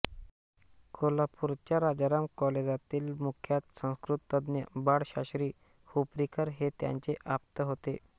कोल्हापूरच्या राजाराम कॉलेजातील विख्यात संस्कृतज्ञ बाळशास्त्री हुपरीकर हे त्यांचे आप्त होते